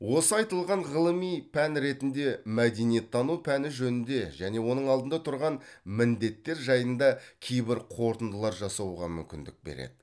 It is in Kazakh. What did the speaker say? осы айтылған ғылыми пән ретінде мәдениеттану пәні жөнінде және оның алдында тұрған міндеттер жайында кейбір қорытындылар жасауға мүмкіндік береді